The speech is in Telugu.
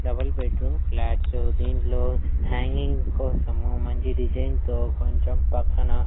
డబుల్ బెడ్ రూమ్ ఫ్లాట్స్ దీంట్లో హ్యాంగింగ్ కోసము మంచి డిజైన్ తో కొంచెం పక్కన.